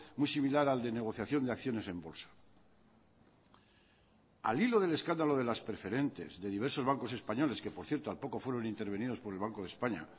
muy similar al de negociación de acciones en bolsa al hilo del escándalo de las preferentes de diversos bancos españoles que por cierto al poco fueron intervenidos por el banco de españa